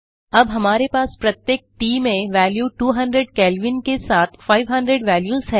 अब हमारे पास प्रत्येक ट में वैल्यू 200 केल्विन के साथ 500 वैल्यूस है